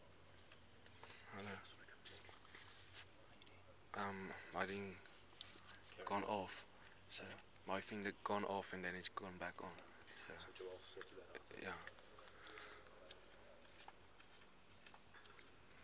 plaaslike ekonomiese